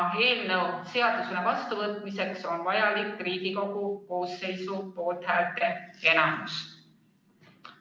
Eelnõu seadusena vastuvõtmiseks on vaja Riigikogu koosseisu poolthäälte enamust.